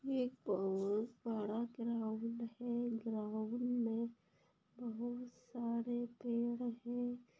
एक बहुत बड़ा ग्राउंड है ग्राउंड मे बहोत सारे पेड़ है।